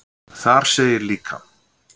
Þar segir líka: